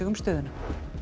stöðuna